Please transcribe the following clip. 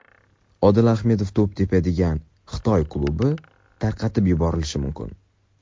Odil Ahmedov to‘p tepadigan Xitoy klubi tarqatib yuborilishi mumkin.